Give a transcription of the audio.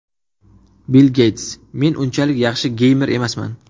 Bill Geyts: Men unchalik yaxshi geymer emasman.